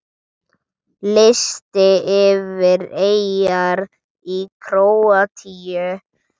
Listi yfir eyjar í Króatíu